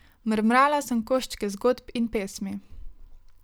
Mrmrala sem koščke zgodb in pesmi.